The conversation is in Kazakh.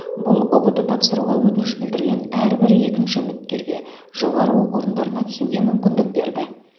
бұл ұбт тапсыруға өтініш білдірген әрбір екінші үміткерге жоғары оқу орындарына түсуге мүмкіндік берді